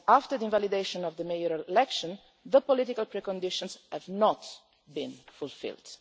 the invalidation of the mayoral election, the political preconditions have not been fulfilled.